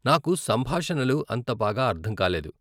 నాకు సంభాషణలు అంత బాగా అర్ధం కాలేదు.